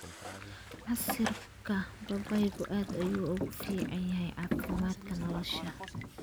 Casiirka babaygu aad ayuu ugu fiican yahay caafimaadka caloosha.